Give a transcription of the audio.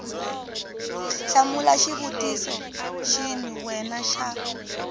hlamula xivutiso xin we xa